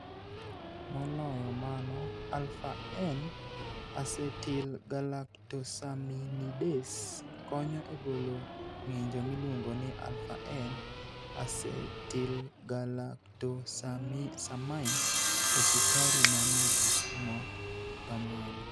Moloyo mano, alpha N acetylgalactosaminidase konyo e golo ng'injo miluongo ni alpha N acetylgalactosamine e sukari manie gik ma kamago.